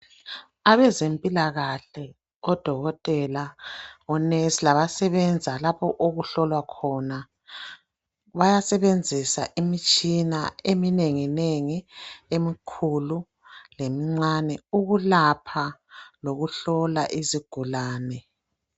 Abezempilakahle, odokotela, onesi, labasebenza lapho okuhlolwa khona, bayasebenzisa imitshina eminenginengi emikhulu lemincane ukulapha lokuhlola izigulane.